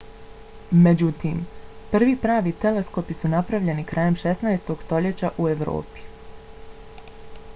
međutim prvi pravi teleskopi su napravljeni krajem 16. stoljeća u evropi